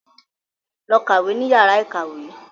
Lọ kàwé ní yàrá ìkàwé.